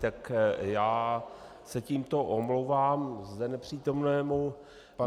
Tak já se tímto omlouvám zde nepřítomnému panu...